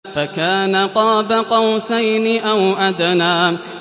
فَكَانَ قَابَ قَوْسَيْنِ أَوْ أَدْنَىٰ